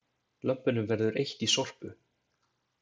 Lömpum verður eytt í Sorpu